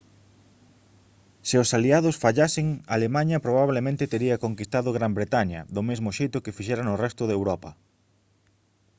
se os aliados fallasen alemaña probablemente tería conquistado gran bretaña do mesmo xeito que fixera no resto de europa